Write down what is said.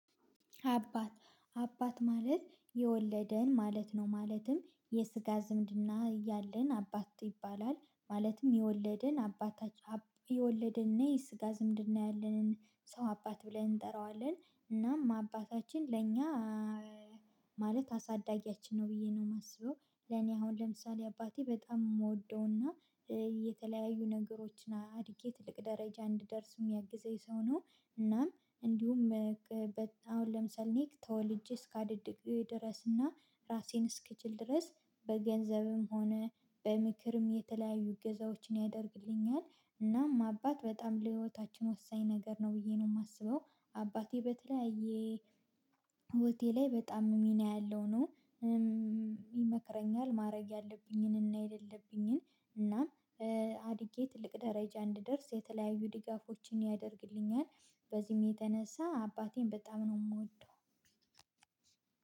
አባት አባት ማለት የወለደን ማለት ነው ማለትም የስጋ ዝምድና ያለን አባት ይባላል ማለትም የወለድን አባታች የወለድን እና የስጋ ዝምድን ያለንን ሰው አባት ብለን እንጠራዋለን እናም አባታችን ለእኛ ማለት አሳዳጊያችን ነው ብዬ ነው የማስበው። ለኔ አሁን ለምሳሌ አባቴ በጣም የምወደውና የተለያዩ ነገሮችን አድጌ ትልቅ ደረጃ እንድደርስ የሚያግዘኝ ሰው ነው። እናም እንዲሁም አሁን ለምሳሌ እኔ ተወልጄ እስከ አድግ ድረስ እና ራሴን እስክችል ድረስ በገንዘብም ሆነ በምክርም የተለያዩ እገዛዎችን ያደርግልኛል እናም አባት በጣም ለህይወታችን ወሳኝ ነገር ነው ብዬ ነው የማስበው። አባቴ በተለያየ ህይወቴ ላይ በጣም ሚና ያለው ነው። ይመክረኛል ማድረግ ያለብኝንና የሌለብኝን እና አድጌ ትልቅ ደረጃ እንድደርስ የተለያዩ ድጋፎችን ያደርግልኛል በዚህም የተነሳ አባቴን በጣም ነው የምወደው።